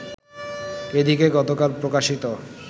এদিকে গতকাল প্রকাশিত